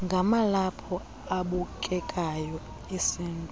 ngamalaphu abukekayo esintu